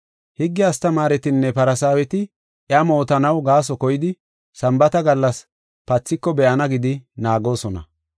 Higge astamaaretinne Farsaaweti iya mootanaw gaaso koyidi Sambaata gallas pathiko be7ana gidi naagoosona.